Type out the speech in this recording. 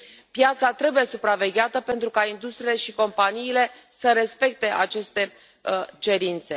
Piața trebuie supravegheată, pentru ca industriile și companiile să respecte aceste cerințe.